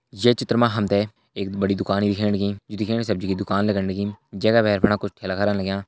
ये चित्र मा हम तैं एक बड़ी दुकान दिखेण लगीं जू देखणा में हम तैं सब्जी की दुकान लगण लगीं जै का भैर फणा कुछ ठेला करा लग्यां।